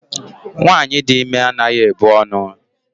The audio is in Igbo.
Nwaanyị dị ime anaghị ebu ọnụ.